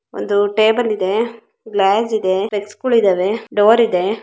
ಒಂದು ಟೇಬಲ್ ಇದೆ ಗ್ಲಾಸ್ ಇದೆ ಡಿಸ್ಕ್ ಕೂಡ ಇದವೆಡೋರ್ ಇದೆ.